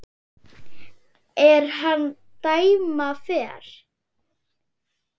er hann dæma fer